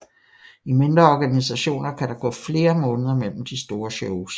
I mindre organisationer kan der gå flere måneder mellem de store shows